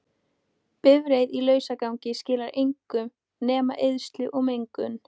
Bifreið í lausagangi skilar engu nema eyðslu og mengun.